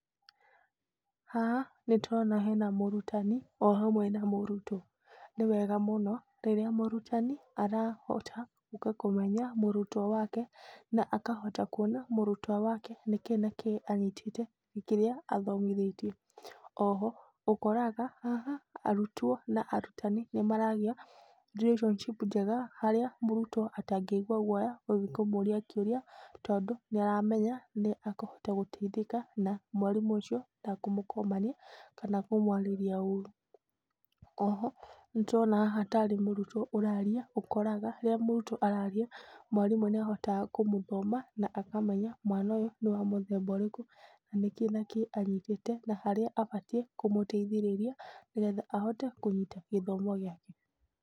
Haha nĩ tũrona hena mũrutani ohamwe na mũrutwo. Nĩwega mũno rĩrĩa mũrutani arahota kũmenya mũrutwo wake. Na akahota kũona mũrutwo wake nĩkĩĩ na kĩĩ anyitĩte kĩrĩa athomithĩtio. Oho ũkoraga haha, arutwo na arutani nĩ maragĩa relationship njega harĩa mũrutwo atangĩigwa guoya gũthiĩ kũmũria kĩũria. Tondũ nĩ aramenya nĩ ekũhota gũteithĩka na mwarimũ ũcio ndekũmakũmania kana kũmwarĩrĩa ũru. Oho nĩ ndĩrona haha tarĩ mũrutwo ũraria, ũkoraga rĩrĩa mũrutwo araria, mwarĩmũ nĩ ahotaga kũmũthoma na akamenya mwana ũyũ nĩ wamũthemba ũrĩkũ. Nĩngĩ nĩkĩĩ anyitĩte na harĩa abatiĩ kũmũteithĩrĩria nĩgetha ahote kũnyita gĩthomo gĩake.